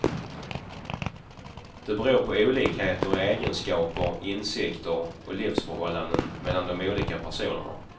Det beror på olikheter i egenskaper, insikter och livsförhållanden mellan de olika personerna.